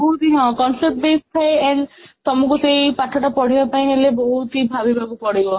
ବହୂତ ହି concept base ଥାଏ and ତମକୁ ସେଇ ପାଠ ପଢିବା ପାଇଁ ହେଲେ ବହୁତ ହି ଭାବିବାକୁ ପଡିବ